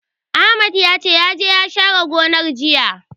Ahmad ya ce, ya je ya share gonar, jiya.